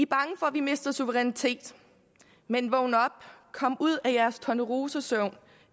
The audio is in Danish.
bange for at vi mister suverænitet men vågn op kom ud af tornerosesøvnen